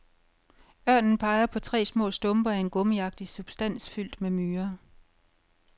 Ørnen peger på tre små stumper af en gummiagtig substans fyldt med myrer.